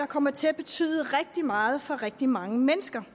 kommer til at betyde rigtig meget for rigtig mange mennesker